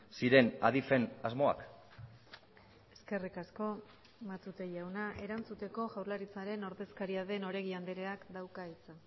ziren adifen asmoak eskerrik asko matute jauna erantzuteko jaurlaritzaren ordezkaria den oregi andreak dauka hitza